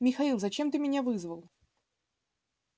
михаил зачем ты меня вызвал